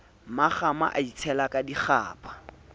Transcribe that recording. mmakgama a itshela ka dikgapha